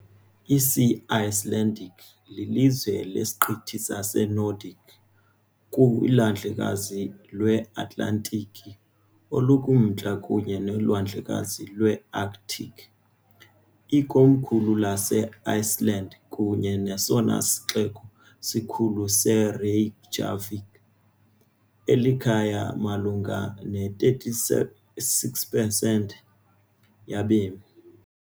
Isi-Icelandic lilizwe lesiqithi saseNordic kuLwandlekazi lweAtlantiki olukuMntla kunye noLwandlekazi lweArctic. Ikomkhulu laseIceland kunye nesona sixeko sikhulu yiReykjavik, elikhaya malunga ne-36 percent yabemi.